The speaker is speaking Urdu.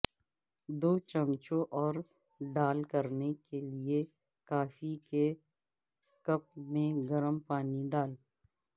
دو چمچوں اور ڈال کرنے کے لئے کافی کے کپ میں گرم پانی ڈال